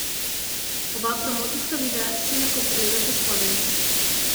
Oba promocijska videa si lahko pogledate spodaj.